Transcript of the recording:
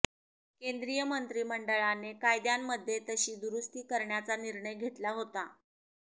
केंद्रीय मंत्रिमंडळाने कायद्यांमध्ये तशी दुरुस्ती करण्याचा निर्णय घेतला होता